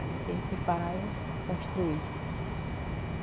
Aí teve que parar e construir.